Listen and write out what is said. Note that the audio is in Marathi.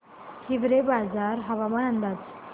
हिवरेबाजार हवामान अंदाज